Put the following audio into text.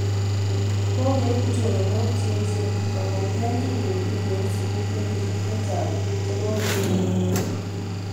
Kokieku choronok che eechen kong'ete kingetuye eng' sukul kenyisyek chechang' che kokosirto